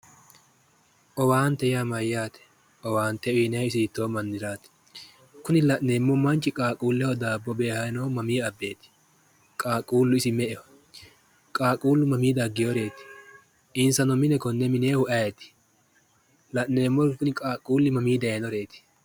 Owaante yaa mayyate? owaante uyiinayihu isi hiittoo maniraati? kuni la'nemmo manchi qaaqqulleho daabbo beehayi noohu mamii abbeeti? qaaqquullu isi me"eho? qaaqquullu mamii daggeyooreeti? insa noo mine konne mineyoohu ayeeti? la'neemmori kuri mamii dayiinoreeti?